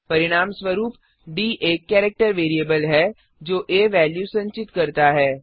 परिणाम स्वरूप डी एक केरेक्टर वेरिएबल है जो आ वेल्यू संचित करता है